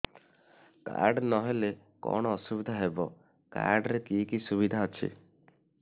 card ନହେଲେ କଣ ଅସୁବିଧା ହେବ କାର୍ଡ ରେ କି କି ସୁବିଧା ଅଛି